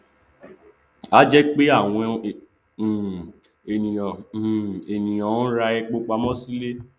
ajẹ pé àwọn um ènìyàn um ènìyàn nra epo pamọ silé